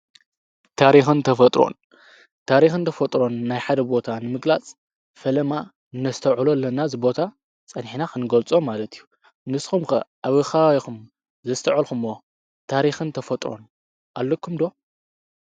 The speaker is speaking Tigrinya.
ታሪክን ተፈጥሮን፦ ታሪክን ተፈጥሮን ናይ ሓደ ቦታ ንምግላፅ ፈለማ ነስተውዕሎ ኣለና እዚ ቦታ ፀኒሕና ክንገልፆ ማለት እዩ። ንስኹም ኸ ኣብ ከባቢኹም ዘስተወዐልክሞ ታሪክን ተፈጥሮን ኣለኹም ዶ?